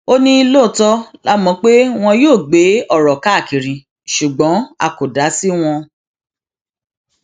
ó ní lóòótọ la mọ pé wọn yóò gbé ọrọ káàkiri ṣùgbọn a kò dá sí wọn